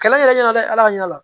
Kɛlɛ yɛrɛ ɲɛna dɛ ala ka ɲa